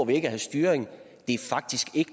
vi ikke have styring det er faktisk ikke